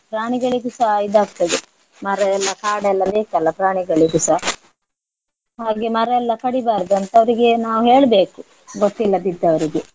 ಪ್ರಾಣಿಗಳಿಗುಸ ಇದಾಗ್ತದೆ ಮರ ಎಲ್ಲ ಕಾಡೆಲ್ಲ ಬೇಕಲ್ಲ ಪ್ರಾಣಿಗಳಿಗುಸ ಹಾಗೆ ಮರ ಎಲ್ಲ ಕಡಿಬಾರ್ದು ಅಂತ ಅವರಿಗೆ ನಾವು ಹೇಳ್ಬೇಕು ಗೊತ್ತಿಲ್ಲದಿದ್ದವರಿಗೆ.